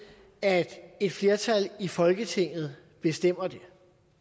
at et flertal i folketinget bestemmer det